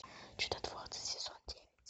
чудотворцы сезон девять